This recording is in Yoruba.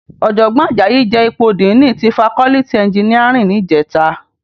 Òjògbòn Ajayi je ipó dìní ti fákòlìtí ènjìníárìn nijètá